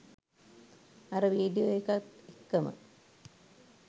අර වීඩියෝ එකත් එක්කම